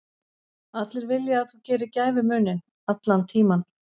Allir vilja að þú gerir gæfumuninn, allan tímann.